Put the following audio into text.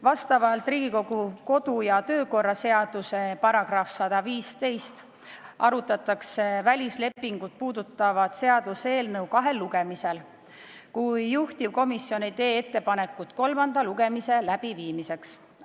Vastavalt Riigikogu kodu- ja töökorra seaduse §-le 115 arutatakse välislepingut puudutavat seaduseelnõu kahel lugemisel, kui juhtivkomisjon ei tee ettepanekut kolmanda lugemise läbiviimiseks.